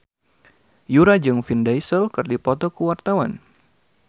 Yura jeung Vin Diesel keur dipoto ku wartawan